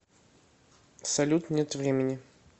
салют нет времени